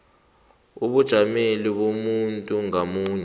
ebujameni bomuntu ngamunye